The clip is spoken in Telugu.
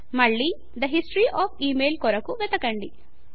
మళ్ళి తే హిస్టరీ ఒఎఫ్ ఇమెయిల్ కొరకు వెతకండి